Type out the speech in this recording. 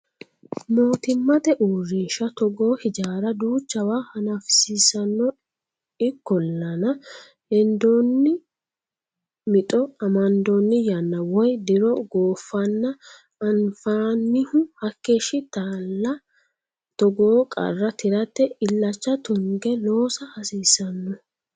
Mootimmate uurrinsha togoo hijaara duuchawa hanafisiisano ikkollanna hedonni mixo amadonni yanna woyi diro goofanna anfanihu hakeeshshatilla togoo qarra tirate illacha tunge loossa hasiisano